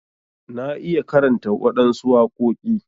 Na iya karanta waɗansu waƙoki.